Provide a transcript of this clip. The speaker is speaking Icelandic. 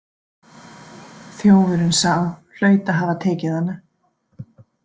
Þjófurinn sá hlaut að hafa tekið hana.